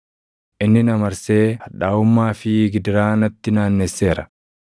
Inni na marsee hadhaaʼummaa fi gidiraa natti naannesseera.